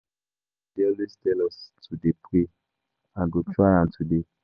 Our pastor dey always tell us to dey pray, I go try am today.